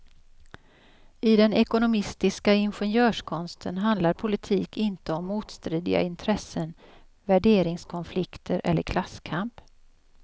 I den ekonomistiska ingenjörskonsten handlar politik inte om motstridiga intressen, värderingskonflikter eller klasskamp.